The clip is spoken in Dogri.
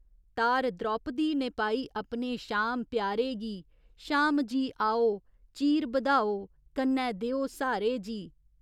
तार द्रोपती ने पाई अपने शाम प्यारे गी शाम जी, आओ चीर बधाओ, कन्नै देओ स्हारे जी।